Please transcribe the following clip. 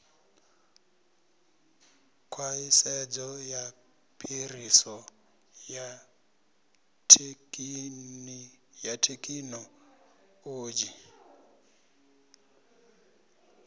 khwaṱhisedzo ya phiriso ya thekhinoḽodzhi